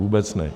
Vůbec ne.